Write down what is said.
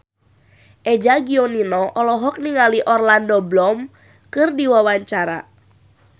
Eza Gionino olohok ningali Orlando Bloom keur diwawancara